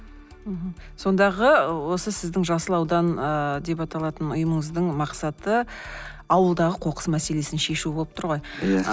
мхм сондағы осы сіздің жасыл аудан ыыы деп аталатын ұйымыңыздың мақсаты ауылдағы қоқыс мәселесін шешу болып тұр ғой иә